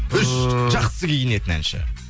үш жақсы киінетін әнші